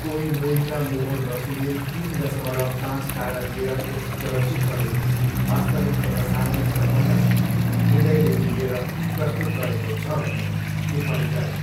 कोइमोईका मोहर बसुले तिन दसमलव पाँच तारा दिएर यस चलचित्रले वास्तविक समसामयिक सम्बन्धलाई हृदयदेखि लिएर प्रस्तुत गरेको छ भन्ने टिप्पणी गरे।